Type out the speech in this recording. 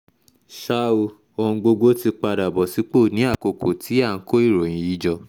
ṣá o ohun gbogbo ti padà bọ̀ sípò ní àkókò tí à ń kó ìròyìn yìí jọ